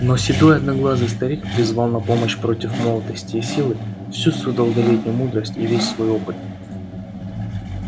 но седой одноглазый старик призвал на помощь против молодости и силы всю свою долголетнюю мудрость и весь свой опыт